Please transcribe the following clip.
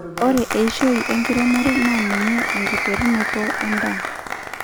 ore eishoi enkiremore naa ninye enkiterunoto endaa